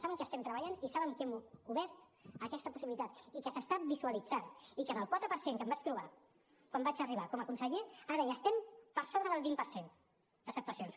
saben que hi estem treballant i saben que hem obert aquesta possibilitat i que s’està visualitzant i que del quatre per cent que em vaig trobar quan vaig arribar com a conseller ara ja estem per sobre del vint per cent d’acceptacions